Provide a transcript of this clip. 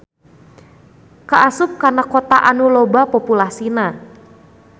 Kaasup kana kota anu loba populasina.